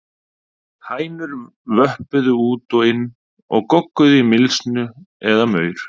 Hænur vöppuðu út og inn og gogguðu í mylsnu eða maur.